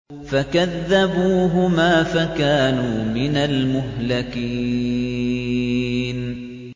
فَكَذَّبُوهُمَا فَكَانُوا مِنَ الْمُهْلَكِينَ